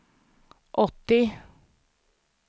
åttio